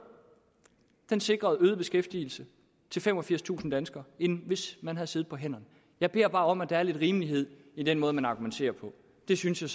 sikrede beskæftigelse til femogfirstusind flere danskere end hvis man havde siddet på hænderne jeg beder bare om at der er lidt rimelighed i den måde man argumenterer på det synes jeg